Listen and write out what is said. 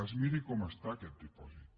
es miri com està aquest dipòsit